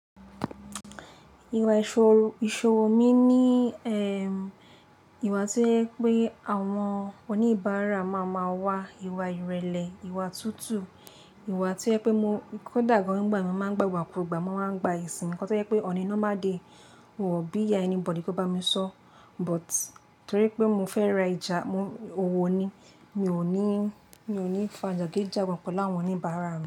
Ìwà ìṣòro, ìṣòwò mi ní, ìwà to jẹ pé àwọn oníbàárà máa máa wá, ìwà ìrẹ̀lẹ̀, ìwà tútù, ìwà to jẹ pé mo--kódà gàn ngbà mi, mo máa ń gbagbakugba, mo máa ń gba ẹ̀sìn. Nǹkan to jẹ pé on a normal day, wòn bí ya anybody kó bá mi sọ́. But nítorí pé mo fẹ́ ra ijà, mo, owó ni. Mi ò ní, mi ò ní fà jagidíjàgan pelu áwọn oníbàárà mi.